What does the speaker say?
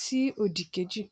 sí òdì kejì